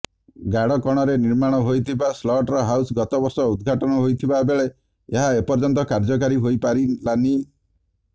ଗାଡ଼କଣରେ ନିର୍ମାଣ ହୋଇଥିବା slaughter house ଗତବର୍ଷ ଉଦ୍ଘାଟନ ହୋଇଥିବାବେଳେ ଏହା ଏପର୍ଯ୍ୟନ୍ତ କାର୍ଯ୍ୟକାରୀ ହୋଇପାରିଲାନି